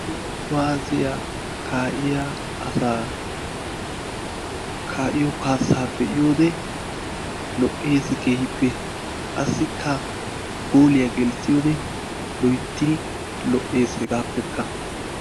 Toho kuwaasiya kaa'iya asaa kaa'iyo kaasaa be'iyode lo'eesi keehippe qassikka gooliya gelissiyode loyttidi lo'ees hegaapekka